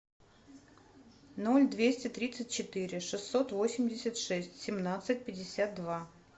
ноль двести тридцать четыре шестьсот восемьдесят шесть семнадцать пятьдесят два